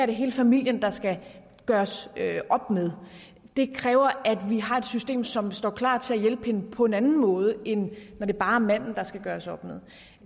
er hele familien der skal gøres op med det kræver at vi har et system som står klar til at hjælpe hende på en anden måde end når det bare er manden der skal gøres op med